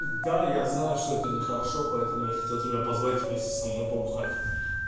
да я знаю что это нехорошо поэтому я хотел тебя позвать вместе со мной побухать